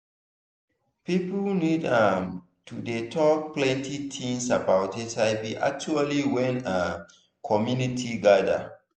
people need um to dey talk plenty things about hiv actually when um community gather